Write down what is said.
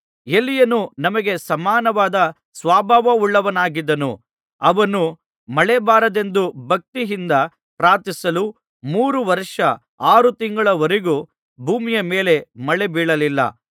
ಎಲೀಯನು ನಮಗೆ ಸಮಾನವಾದ ಸ್ವಭಾವವುಳ್ಳವನಾಗಿದ್ದನು ಅವನು ಮಳೆ ಬರಬಾರದೆಂದು ಭಕ್ತಿಯಿಂದ ಪ್ರಾರ್ಥಿಸಲು ಮೂರು ವರ್ಷ ಆರು ತಿಂಗಳವರೆಗೂ ಭೂಮಿಯ ಮೇಲೆ ಮಳೆ ಬೀಳಲಿಲ್ಲ